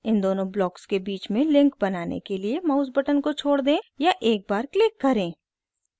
इन दोनों ब्लॉक्स के बीच में लिंक बनाने के लिए माउस बटन को छोड़ दें या एक बार क्लिक करें